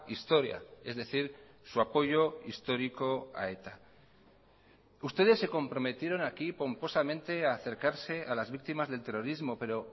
historia es decir su apoyo histórico a eta ustedes se comprometieron aquí pomposamente a acercarse a las víctimas del terrorismo pero